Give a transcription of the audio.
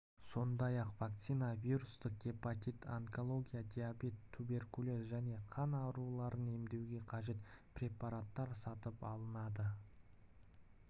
сондай-ақ вакцина вирустық гепатит онкология диабет туберкулез және қан ауруларын емдеуге қажет препараттар сатып алынады